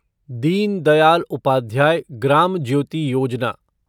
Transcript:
Deen Dayal Upadhyaya Gram Jyoti Yojana